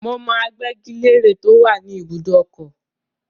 Mo mọ agbẹ́gi-lére tó wà ní ìbùdókọ̀.